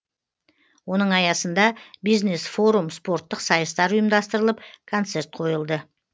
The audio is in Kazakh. оның аясында бизнес форум спорттық сайыстар ұйымдастырылып концерт қойылды